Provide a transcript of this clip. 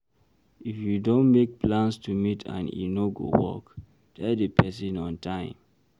if you don make plans to meet and e no go work, tell di person on time